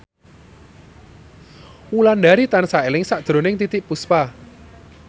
Wulandari tansah eling sakjroning Titiek Puspa